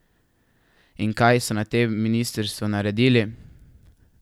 In kaj so na tem ministrstvu naredili?